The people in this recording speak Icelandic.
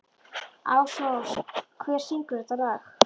Ásrós, hver syngur þetta lag?